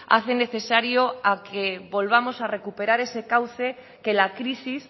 hace necesario a que volvamos a recuperar ese cauce que la crisis